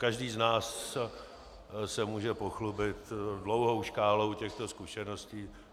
Každý z nás se může pochlubit dlouhou škálou těchto zkušeností.